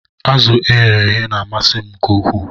Azu egere beghe na amasi m nke ukwuu